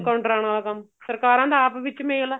ਲੋਕਾਂ ਨੂੰ ਡਰਾਣ ਵਾਲਾ ਕੰਮ ਸਰਕਾਰਾਂ ਦਾ ਆਪ ਵਿੱਚ ਮੇਲ ਏ